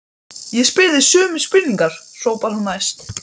Ég spyr þig sömu spurningar, hrópar hún æst.